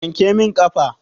Wanke min ƙafa.